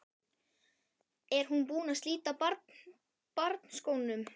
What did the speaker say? Er hún búin að slíta barnsskónum?